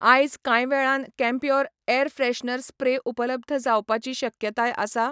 आयज कांय वेळान कैम्प्योर एयर फ्रेशनर स्प्रे उपलब्ध जावपाची शक्यताय आसा ?